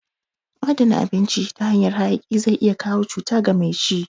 Adana abinci ta hanyan hayaki zai iya kawo cuta ga mai ci